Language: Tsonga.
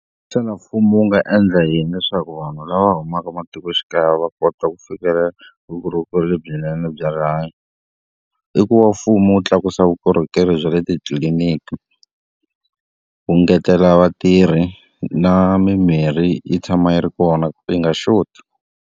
Xana mfumo wu nga endla yini leswaku vanhu lava humaka ematikoxikaya va kota ku fikelela vukorhokeri lebyinene bya rihanyo? I ku va mfumo wu tlakusa vukorhokeri bya le titliliniki, wu ngetela vatirhi na mimirhi yi tshama yi ri kona, yi nga xoti.